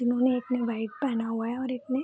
इन्होने एक ने वाइट पहना हुआ है और एक ने --